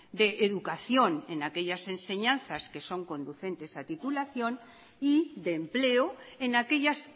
de educación en aquellas enseñanzas que son conducentes a titulación y de empleo en aquellas